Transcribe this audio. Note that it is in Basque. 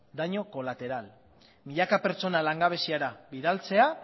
daño colateral milaka pertsona langabezira bidaltzea